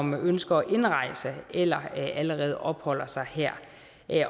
ønsker at indrejse eller allerede opholder sig her